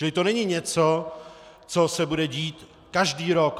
Čili to není něco, co se bude dít každý rok.